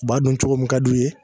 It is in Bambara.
U b'a dun cogo mun ka d'u ye